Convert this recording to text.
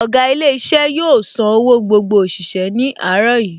Ọ̀gá ilé iṣẹ́ yóò san owó gbogbo òṣìṣẹ́ ní àárọ̀ yìí